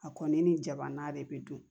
A kɔni ni jabana de bɛ dun